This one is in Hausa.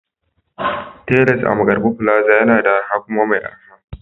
Tiles a Markarfi plaza yana da arha kuma mai araha